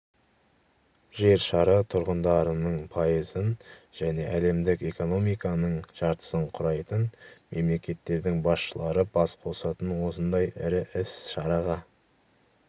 жер шары тұрғандарының пайызын және әлемдік экономиканың жартысын құрайтын мемлекеттердің басшылары бас қосатын осындай ірі іс-шараға